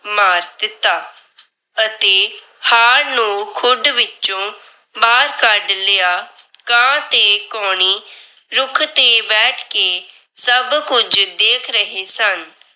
ਸੱਪ ਨੂੰ ਮਾਰ ਦਿੱਤਾ। ਅਤੇ ਹਾਰ ਨੂੰ ਖੁੱਡ ਵਿਚੋਂ ਬਾਹਰ ਕੱਢ ਲਿਆ। ਕਾਂ ਤੇ ਕਾਉਣੀ ਰੁੱਖ ਤੇ ਬੈਠ ਕੇ ਸਭ ਕੁਝ ਦੇਖ ਰਹੇ ਸਨ।